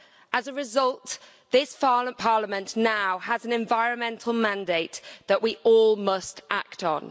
As a result, this Parliament now has an environmental mandate that we all must act on.